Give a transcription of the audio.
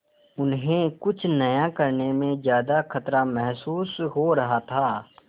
उन्हें कुछ नया करने में ज्यादा खतरा महसूस हो रहा था